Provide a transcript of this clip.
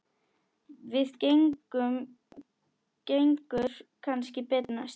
Það gengur kannski betur næst.